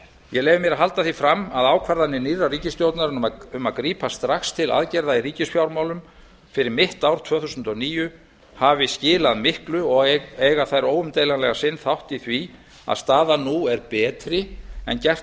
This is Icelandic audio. ég leyfi mér að halda því fram að ákvarðanir nýrrar ríkisstjórnar um að grípa strax til aðgerða í ríkisfjármálum fyrir mitt ár tvö þúsund og níu hafi skilað miklu og eigi óumdeilanlega sinn þátt í því að staðan nú er betri en gert